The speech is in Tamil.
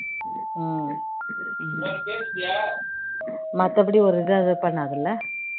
மத்தபடி ஒரு இதுவும் இது பண்ணாதுல்ல